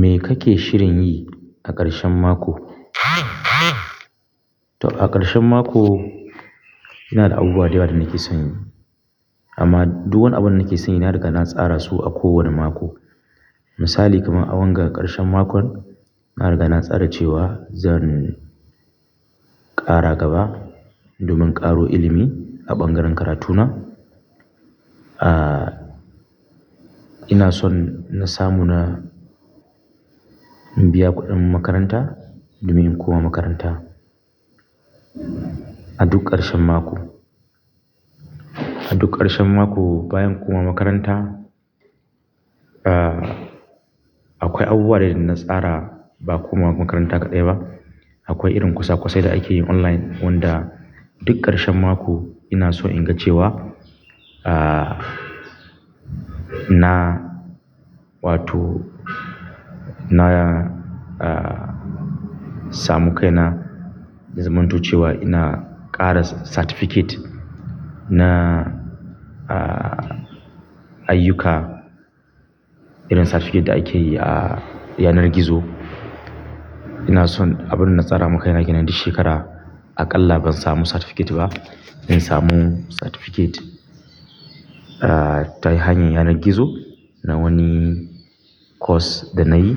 Me kake shirin yi a ƙarshen mako? To a ƙarshen mako ina da abubuwa da yawa da nake son yi. Amma duk wani abun da nake son yi na riga na tsara su a kowane mako. Misali kamar a wanga ƙarshen makon, na riga na tsara cewa zan ƙara gaba domin ƙaro ilimi a ɓangaren karatuna. Ina son na samu na biya kuɗin makaranta domin in koma makaranta a duk ƙarshen mako. A duk ƙarshen mako bayan koma makaranta, akwai abubuwa dai da na tsara ba komawa makaranta kaɗai ba. Akwai irin kosa-kosai da ake yi online wanda duk ƙarshen mako ina so in ga cewa na wato na ahh samu kaina. Ya zamanto cewa ina ƙara certificate na aa ayyuka irin certificate da ake yi a yanar gizo. Ina son abun da na tsara makaina kenan duk shekara aƙalla ban samu certificate ba. Ina samu certificate ta hanyar yanar gizo na wani course da na yi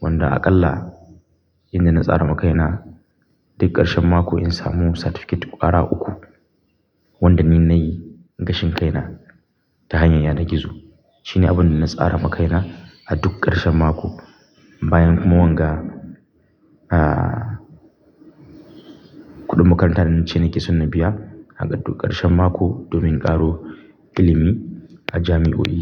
wanda aƙalla inda na tsara makaina duk ƙarshen mako in samu certificate ƙwara uku wanda ni na yi gashin kaina ta hanyar yanar gizo. Shi ne abun da na tsara makaina a duk ƙarshen mako bayan kuma wanga a kuɗin makaranta wacce nake son na biya a duk ƙarshen mako domin ƙaro ilimi a jami'o'i.